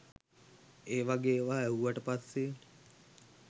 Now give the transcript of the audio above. ඒ වගේ ඒවා ඇහුවට පස්සේ